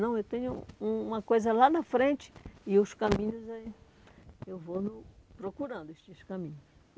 Não, eu tenho um uma coisa lá na frente e os caminhos aí, eu vou no procurando estes caminhos.